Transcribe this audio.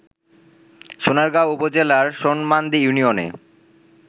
সোনারগাঁও উপজেলার সনমান্দি ইউনিয়নে